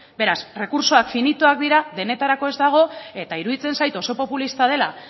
beraz baliabideak finitoak dira denetarako ez daude eta iruditzen zait oso populista dela